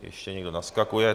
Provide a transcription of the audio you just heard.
Ještě někdo naskakuje.